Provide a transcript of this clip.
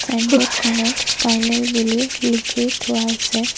Signboard খনত final বুলি লিখি থোৱা আছে।